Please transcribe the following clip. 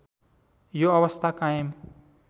यो अवस्था कायम